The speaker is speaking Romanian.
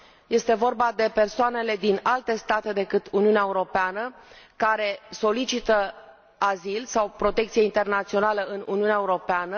1. este vorba de persoanele din alte state decât Uniunea Europeană, care solicită azil sau protecție internațională în Uniunea Europeană